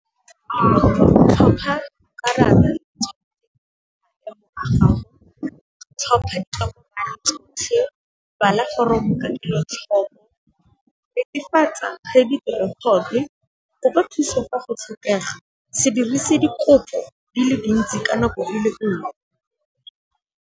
Go tlhopha karata , bala foromo ka kelotlhoko, netefatsa ge , kopa thusa ka go tshepega, se dirise dikopo di le dintsi ka nako e le nngwe.